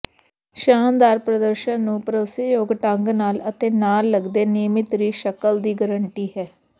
ਸ਼ਾਨਦਾਰ ਪ੍ਰਦਰਸ਼ਨ ਨੂੰ ਭਰੋਸੇਯੋਗ ਢੰਗ ਨਾਲ ਅਤੇ ਨਾਲ ਲਗਦੇ ਨਿਯਮਤ ਰੇਿਾ ਸ਼ਕਲ ਦੀ ਗਾਰੰਟੀ ਹੈ